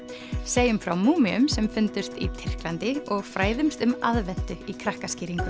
segjum frá sem fundust í Tyrklandi og fræðumst um aðventu í